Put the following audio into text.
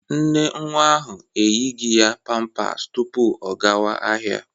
Nne nwa ahụ eyighi ya pampas tupu ọ gawa ahịa.